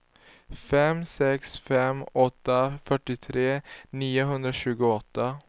fem sex fem åtta fyrtiotre niohundratjugoåtta